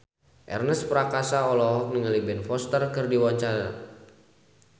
Ernest Prakasa olohok ningali Ben Foster keur diwawancara